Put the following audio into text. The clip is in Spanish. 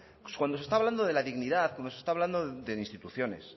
pues cuando se está hablando de la dignidad como se está hablando de instituciones